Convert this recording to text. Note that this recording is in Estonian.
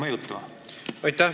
Aitäh!